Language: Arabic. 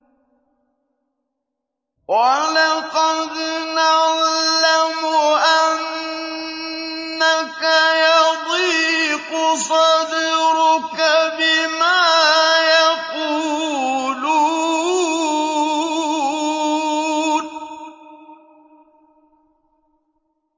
وَلَقَدْ نَعْلَمُ أَنَّكَ يَضِيقُ صَدْرُكَ بِمَا يَقُولُونَ